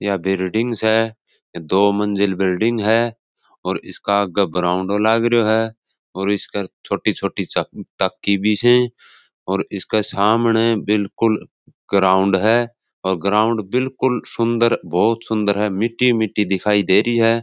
यहाँ बिल्डिंग्स है दो मंजिल बिल्डिंग है और इसका लागरियो है और इसका छोटी छोटी तक्की भी है और इसके सामने बिलकुल ग्राउंड है और ग्राउंड बिलकुल सुन्दर बहुत सुन्दर है मिटटी मिटटी दिखाई दे रही है।